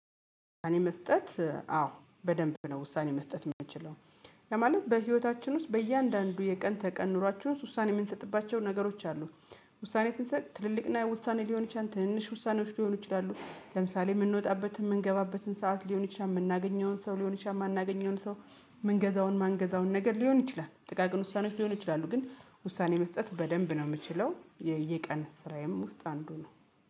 እኔ መስጠት አዎ በደንብ ነው ውሳኔ መስጠት የምንችለው ለማለት በህይወታችን ውስጥ በእያንዳንዱ የቀን ተቀን ኑሯችሁ ውስጥ ውሳኔ የምንሰጥባቸው ነገሮች አሉ። ውሳኔ ስንሰጥ ትልልቅና የውሳኔ ሊሆን ይችላል ትንንሽ ውሳኔዎች ሊሆኑ ይችላሉ ለምሳሌ የምንወጣበት የምንገባበትን ሰዓት ሊሆን ይችላል የምናገኘውን ሰው ሊሆን ይችላል የማናገኘውን ሰው ምንገዛውን ማንገዛውን ነገር ሊሆን ይችላል ጥቃቅን ውሳኔዎች ሊሆን ይችላሉ ግን ውሳኔ መስጠት በደንብ ነው የምችለው የየቀን ስራዬም ውስጥ አንዱ ነው